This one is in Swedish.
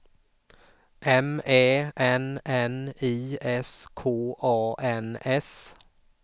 M Ä N N I S K A N S